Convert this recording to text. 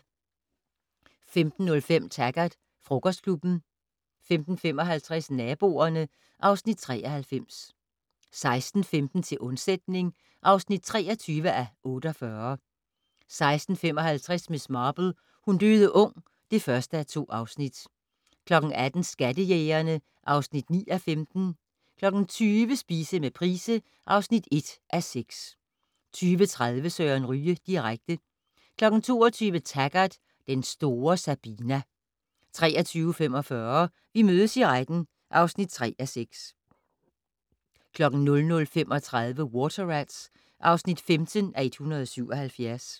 15:05: Taggart: Frokostklubben 15:55: Naboerne (Afs. 93) 16:15: Til undsætning (23:48) 16:55: Miss Marple: Hun døde ung (1:2) 18:00: Skattejægerne (9:15) 20:00: Spise med Price (1:6) 20:30: Søren Ryge direkte 22:00: Taggart: Den store Sabina 23:45: Vi mødes i retten (3:6) 00:35: Water Rats (15:177)